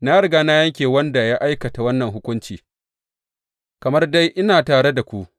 Na riga na yanke wa wanda ya aikata wannan hukunci, kamar dai ina tare da ku.